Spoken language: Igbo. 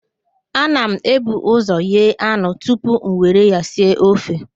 Ana m ebu ụzọ ghee anụ tupu m nwere ya sie ofe